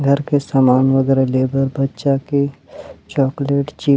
घर के सामान वगैरह ले ब बच्चा के चॉकलेट चिप्स --